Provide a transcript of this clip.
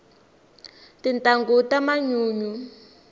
tintangu ta manyunyu